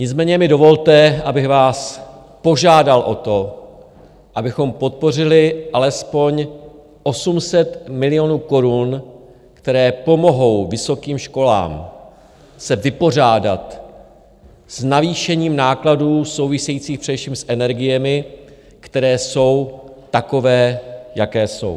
Nicméně mi dovolte, abych vás požádal o to, abychom podpořili alespoň 800 milionů korun, které pomohou vysokým školám se vypořádat s navýšením nákladů souvisejících především s energiemi, které jsou takové, jaké jsou.